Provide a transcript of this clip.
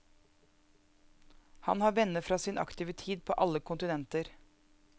Han har venner fra sin aktive tid på alle kontinenter.